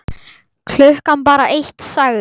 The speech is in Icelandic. Klukkan er bara eitt, sagði